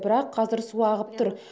бірақ қазір су ағып тұр